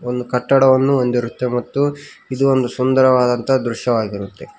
ಒಂದು ಕಟ್ಟಡವನ್ನು ಹೊಂದಿರುತ್ತೆ ಮತ್ತು ಇದು ಒಂದು ಸುಂದರವಾದ ದೃಶ್ಯವಾಗಿರುತ್ತೆ.